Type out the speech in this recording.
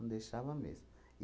Não deixava mesmo.